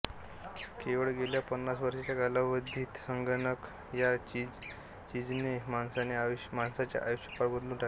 केवळ गेल्या पन्नास वर्षांच्या कालावधीत संगणक ह्या चीजेने माणसाचे आयुष्य पार बदलून टाकले आहे